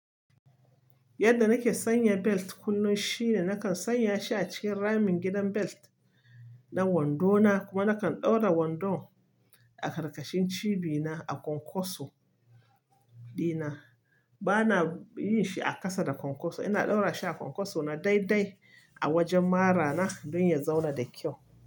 Yadda nake sanya belt kullum shine nakan sanya shi a cikin ramin gidan belt. Na wando na, kuma nakan ɗaura wandon a ƙarƙashin cibina a ƙwanƙwaso ɗina. Bana yin shi a ƙasa da ƙwanƙwaso. Ina ɗaura shi a ƙwanƙwaso na daidai a wajen mara na don ya zauna da kyau.